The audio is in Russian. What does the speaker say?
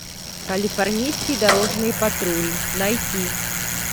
калифорнийский дорожный патруль найти